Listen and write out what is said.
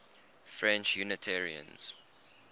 french unitarians